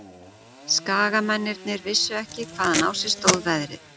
Skagamennirnir vissu ekki hvaðan á sig stóð veðrið.